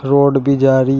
Road भी जा रही है।